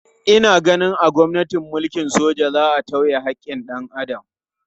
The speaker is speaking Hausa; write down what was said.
Ina ganin a gwamnatin soja za a tauye haƙƙin dan Adam.